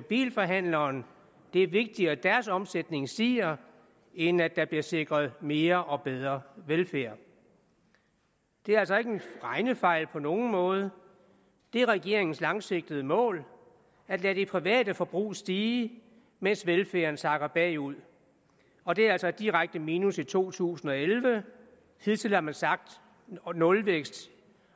bilforhandleren det er vigtigere at deres omsætning stiger end at der bliver sikret mere og bedre velfærd det er altså ikke en regnefejl på nogen måde det er regeringens langsigtede mål at lade det private forbrug stige mens velfærden sakker bagud og det er altså et direkte minus i to tusind og elleve hidtil har man sagt nulvækst